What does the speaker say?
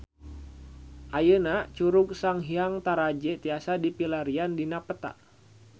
Ayeuna Curug Sanghyang Taraje tiasa dipilarian dina peta